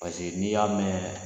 Paseke n'i y'a mɛn